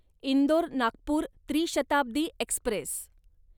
Indore Nagpur Tri Shatabdi Express